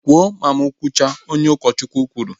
Kwụọ ma mụ kwụcha! Ụkọchukwu kwuru